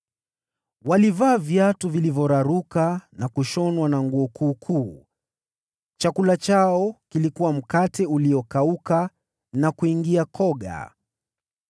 Walivaa miguuni mwao viatu vilivyoraruka na kushonwa kisha wakavaa nguo kuukuu. Chakula chao kilikuwa mkate uliokauka na kuingia koga.